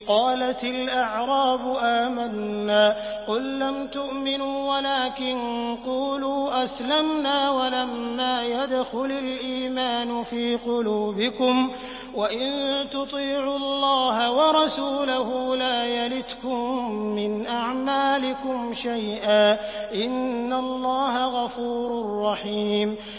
۞ قَالَتِ الْأَعْرَابُ آمَنَّا ۖ قُل لَّمْ تُؤْمِنُوا وَلَٰكِن قُولُوا أَسْلَمْنَا وَلَمَّا يَدْخُلِ الْإِيمَانُ فِي قُلُوبِكُمْ ۖ وَإِن تُطِيعُوا اللَّهَ وَرَسُولَهُ لَا يَلِتْكُم مِّنْ أَعْمَالِكُمْ شَيْئًا ۚ إِنَّ اللَّهَ غَفُورٌ رَّحِيمٌ